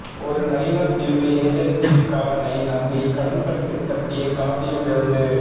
ஒரு நயினாதீவு ஏஜெண்சி காரனை நம்பி கடன்பட்டு கட்டிய காசையும் இழந்து